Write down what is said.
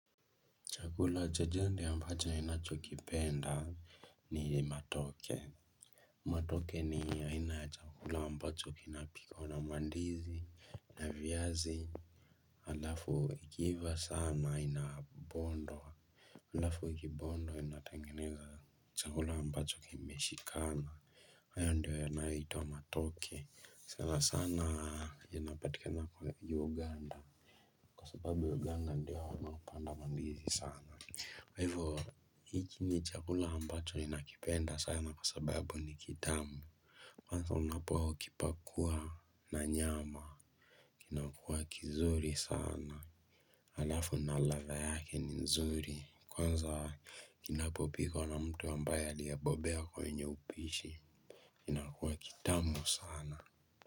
Chakula cha jadi ambacho ninachokipenda ni matoke. Matoke ni aina ya chakula ambacho inapikwa na mandizi na viazi. Halafu ikiiva sana inabondwa. Halafu ikibondwa inatengeneza chakula ambacho kime shikana. Haya ndio yanayo itwa matoke. Ssna sana ya napatikana kwa uganda. Kwa sababu uganda ndio wanaopanda mandizi sana. Kwa hivyo hiki ni chakula ambacho ninakipenda sana kwa sababu ni kitamu. Kwanza unapo kipakua na nyama kinakua kizuri sana. Alafu na ladha yake ni nzuri kwanza kinapopikwa na mtu ambaye aliyebobea kwenye upishi kinakua kitamu sana.